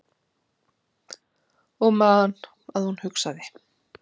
Og man að hún hugsaði